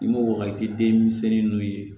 I m'o wagati den misɛnnin ninnu ye